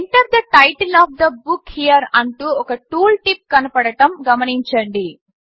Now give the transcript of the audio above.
Enter the title of the book here అంటూ ఒక tooltip కనపడడం గమనించండి